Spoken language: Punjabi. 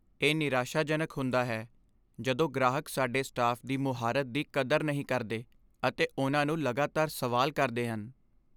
ਇਹ ਨਿਰਾਸ਼ਾਜਨਕ ਹੁੰਦਾ ਹੈ ਜਦੋਂ ਗ੍ਰਾਹਕ ਸਾਡੇ ਸਟਾਫ਼ ਦੀ ਮੁਹਾਰਤ ਦੀ ਕਦਰ ਨਹੀਂ ਕਰਦੇ ਅਤੇ ਉਹਨਾਂ ਨੂੰ ਲਗਾਤਾਰ ਸਵਾਲ ਕਰਦੇ ਹਨ।